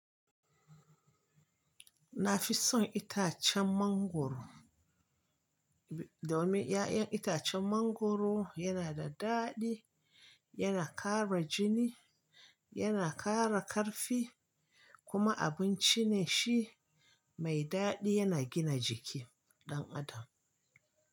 Na fi son itacen mangwaro, domin 'ya'yan itacen mangwaro yana da daɗi, yana ƙara jini, yana ƙara ƙarfi kuma abinci ne shi mai daɗi yana gina jiki ɗan adam.